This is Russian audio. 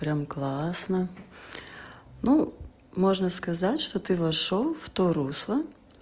прямо классно ну можно сказать что ты вошёл в то русло